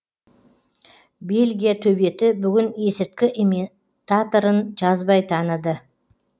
бельгия төбеті бүгін есірткі ими таторын жазбай таныды